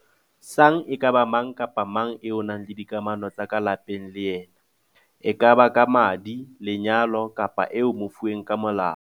sang e ka ba mang kapa mang eo o nang le dikamano tsa ka lapeng le yena e kaba ka madi, lenyalo kapa eo o mofuweng ka molao.